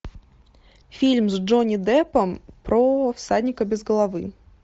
фильм с джонни деппом про всадника без головы